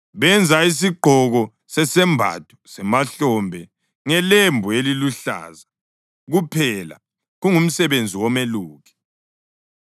Benza isigqoko sesembatho semahlombe ngelembu eliluhlaza kuphela kungumsebenzi womeluki,